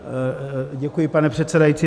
Děkuji, pane předsedající.